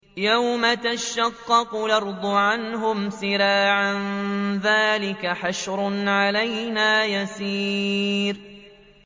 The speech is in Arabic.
يَوْمَ تَشَقَّقُ الْأَرْضُ عَنْهُمْ سِرَاعًا ۚ ذَٰلِكَ حَشْرٌ عَلَيْنَا يَسِيرٌ